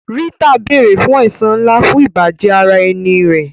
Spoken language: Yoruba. Rita béèrè fún ẹ̀san ńlá fún ìbàjẹ́ ara ẹni rẹ̀.